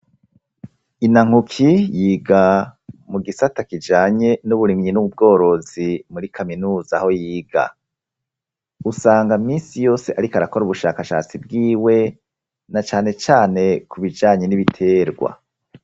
Inankuki yiga mu gisata kijanye n'uburimyi n'ubworozi muri kaminuza aho yiga. Usanga misi yose ariko arakora ubushakashatsi bwiwe na cane cane ku bijanye n'ibiterwa.